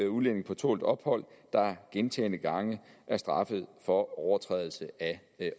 udlændinge på tålt ophold der gentagne gange er straffet for overtrædelse af